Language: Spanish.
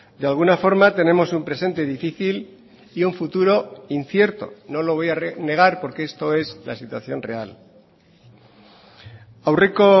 de alguna forma tenemos un presente difícil y un futuro incierto no lo voy a negar porque esto es la situación real aurreko